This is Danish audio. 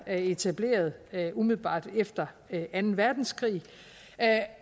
er etableret umiddelbart efter anden verdenskrig